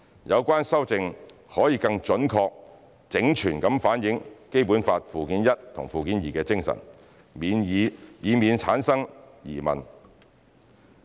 有關修正可以更準確、整全的反映《基本法》附件一和附件二的精神，避免產生疑問。